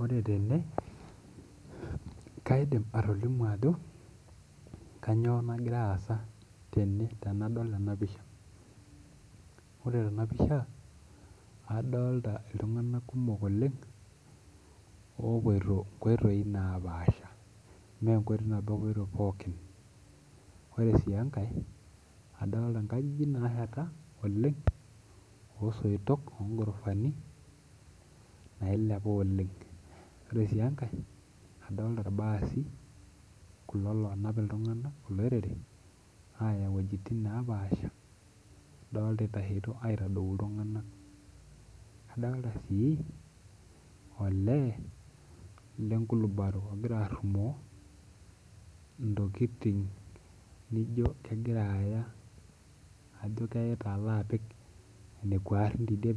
Ore tene kaidim atolimu ajo kanyio nagira aasa tene tanadol ena pisha ore tenapisha adolta ltunganak kumok oleng opoito nchoot napasha mechoto nabo epuoitoi ore si enkae adolta nkajijik nasheta oleng osoitok ongorofani nailepa oleng ore si enkae adolta irbaasi kulo lonap ltunganak olorore idolta itasheto aitadou ltunganak adolta si olee lenkulubaro ogira arumo ntokitin nijo kegira aya